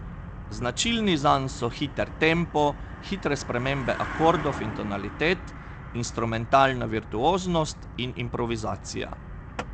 Značilni zanj so hiter tempo, hitre spremembe akordov in tonalitet, instrumentalna virtuoznost in improvizacija.